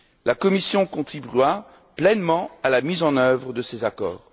La Commission contribuera pleinement à la mise en œuvre de ces accords.